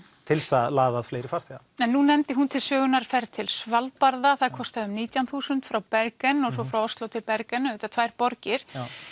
til þess að laða að fleiri farþega en nú nefndi hún til sögunnar ferð til Svalbarða það kostaði um nítján þúsund frá Bergen og svo frá Osló til Bergen auðvitað tvær borgir